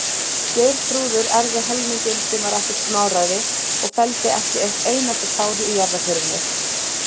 Geirþrúður erfði helminginn, sem var ekkert smáræði, og felldi ekki eitt einasta tár í jarðarförinni.